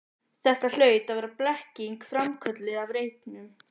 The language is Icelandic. Þetta hlaut að vera blekking, framkölluð af reyknum.